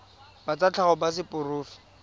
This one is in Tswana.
ba tsa tlhago ba seporofe